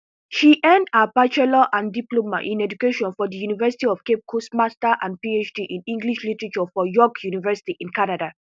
she earn her bachelor and diploma in education from di university of cape coast master and phd in english literature from york university in canada